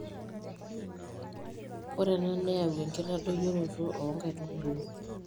ore ena neyau enkitadoyioroto oo nkaitubulu